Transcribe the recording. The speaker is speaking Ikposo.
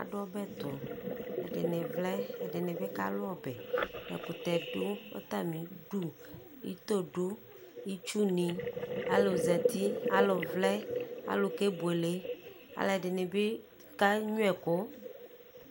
adu ɔbɛ to ɛdini vlɛ ɛdini bi kalu ɔbɛ ɛkutɛ do atami du ito do itsu ni alò zati alò vlɛ alò ke buele alò ɛdini bi kenyua ɛkò